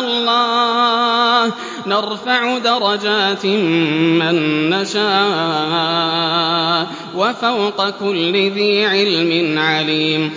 اللَّهُ ۚ نَرْفَعُ دَرَجَاتٍ مَّن نَّشَاءُ ۗ وَفَوْقَ كُلِّ ذِي عِلْمٍ عَلِيمٌ